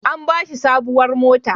An ba shi sabuwar mota.